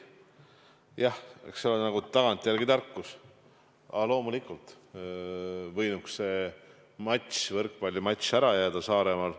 Jah, eks see ole nagu tagantjärele tarkus, aga loomulikult võinuks see võrkpallimatš ära jääda Saaremaal.